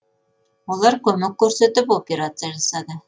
олар көмек көрсетіп операция жасады